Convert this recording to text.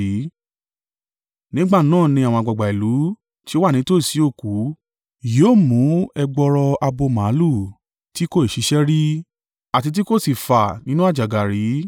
Nígbà náà ni àwọn àgbàgbà ìlú tí ó wà nítòsí òkú yóò mú ẹgbọrọ abo màlúù tí kò ì ṣiṣẹ́ rí àti tí kò sì fà nínú àjàgà rí,